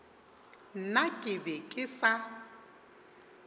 nna ke be ke sa